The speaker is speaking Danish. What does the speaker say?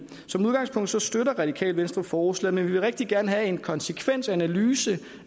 som udgangspunkt støtter radikale venstre forslaget men vi vil rigtig gerne have en konsekvensanalyse